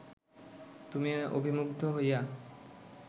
তুমি অবিমুগ্ধ হইয়া